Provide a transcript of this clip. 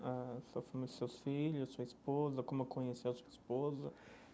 A sua família, seus filhos, sua esposa, como conhecia a sua esposa.